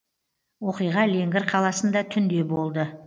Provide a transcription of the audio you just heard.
оқиға леңгір қаласында түнде болды